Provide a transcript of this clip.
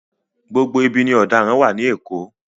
Gbogbo ibi ni ọ̀daràn wà ní Èkó.